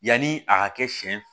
Yanni a ka kɛ siɲɛ